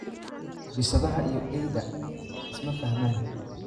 Bisadaha iyo eyda isma faxman.